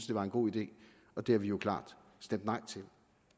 det var en god idé og det har vi jo klart stemt nej til